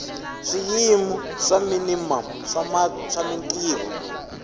swiyimo swa minimamu swa mintirho